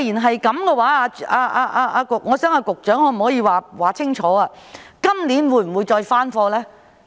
我想局長說清楚，今年會否再有來貨？